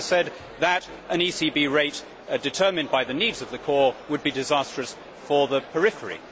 We always said that an ECB rate determined by the needs of the core would be disastrous for the periphery.